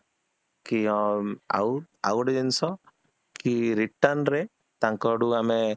କି ହଁ ଆଉ, ଆଉ ଗୋଟେ ଜିନିଷ କି return ରେ ତାଙ୍କ ଆଡୁ ଆମେ